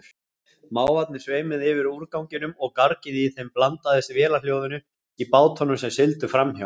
Mávarnir sveimuðu yfir úrganginum og gargið í þeim blandaðist vélarhljóðinu í bátunum sem sigldu framhjá.